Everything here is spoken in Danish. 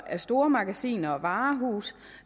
af stormagasiner og varehuse